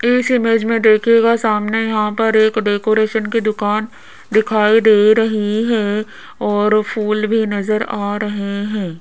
इस इमेज में देखिएगा सामने यहां पर एक डेकोरेशन की दुकान दिखाई दे रही है और फूल भी नजर आ रहे हैं।